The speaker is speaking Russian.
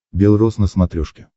бел рос на смотрешке